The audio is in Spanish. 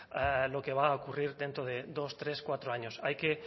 lo que va a ocurrir dentro de dos tres cuatro años hay que